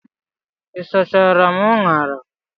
Ị sachara m unara?